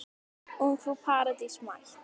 Ungfrú Paradís mætt!